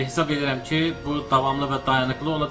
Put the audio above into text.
Hesab edirəm ki, bu davamlı və dayanıqlı olacaq.